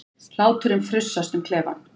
Hláturinn frussast um klefann.